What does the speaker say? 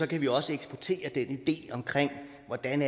kan vi også eksportere den idé omkring hvordan